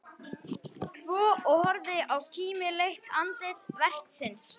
Tvo og horfði á kímileitt andlit vertsins.